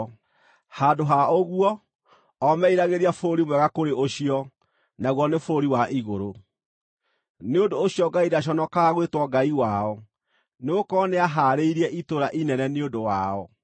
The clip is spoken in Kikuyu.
Handũ ha ũguo, o meeriragĩria bũrũri mwega kũrĩ ũcio, naguo nĩ bũrũri wa igũrũ. Nĩ ũndũ ũcio Ngai ndaconokaga gwĩtwo Ngai wao, nĩgũkorwo nĩahaarĩirie itũũra inene nĩ ũndũ wao.